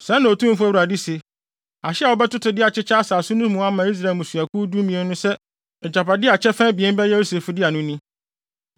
Sɛɛ na Otumfo Awurade se: “Ahye a wobɛtoto de akyekyɛ asase no mu ama Israel mmusuakuw dumien no sɛ agyapade a kyɛfa abien bɛyɛ Yosef dea no ni.